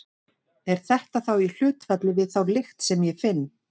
Er það þá í hlutfalli við þá lykt sem ég finn?